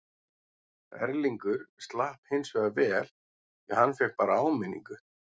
Erlingur slapp hinsvegar vel því hann fékk bara áminningu.